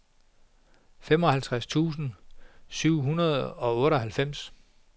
femoghalvtreds tusind syv hundrede og otteoghalvfems